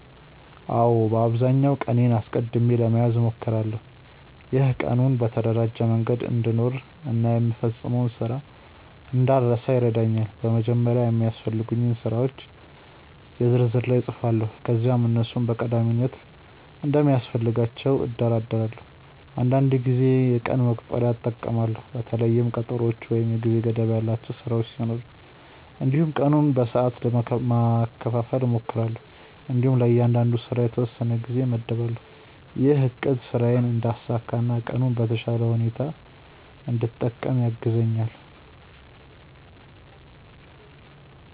አዎ፣ በአብዛኛው ቀኔን አስቀድሜ ለመያዝ እሞክራለሁ። ይህ ቀኑን በተደራጀ መንገድ እንድኖር እና የምፈጽመውን ስራ እንዳልረሳ ይረዳኛል። በመጀመሪያ የሚያስፈልጉኝን ስራዎች የ ዝርዝር ላይ እጻፋለሁ ከዚያም እነሱን በቀዳሚነት እንደሚያስፈልጋቸው እደርዳለሁ። አንዳንድ ጊዜ የቀን መቁጠሪያ እጠቀማለሁ በተለይም ቀጠሮዎች ወይም የጊዜ ገደብ ያላቸው ስራዎች ሲኖሩ። እንዲሁም ቀኑን በሰዓት ማካፈል እሞክራለሁ እንዲሁም ለእያንዳንዱ ስራ የተወሰነ ጊዜ እመድባለሁ። ይህ አቅድ ስራዬን እንዳሳካ እና ቀኑን በተሻለ ሁኔታ እንድጠቀም ያግዛኛል።